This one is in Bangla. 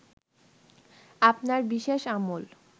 আপনার বিশেষ আমল